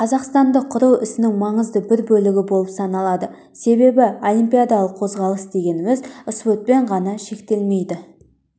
қазақстанды құру ісінің маңызды бір бөлігі болып саналады себебі олимпиадалық қозғалыс дегеніміз спортпен ғана шектелмейді